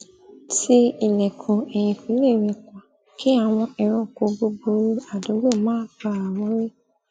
ti ilọẹ̀kùn ẹ̀yikule rẹ̀ pa kí àwọn ẹranko buburu adùúgbò má bàa wọlé